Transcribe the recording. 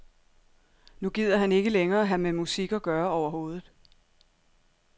Nu gider han ikke længere have med musik at gøre overhovedet.